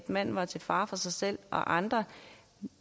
manden var til fare for sig selv og andre